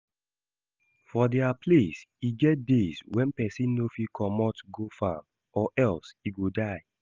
For dia place, e get days when person no fit comot go farm, or else e go die